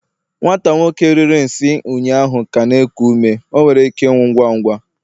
nwata nwoke riri nsi ụnyaahụ ka na-eku ume, o nwere ike ịnwụ ngwa ngwa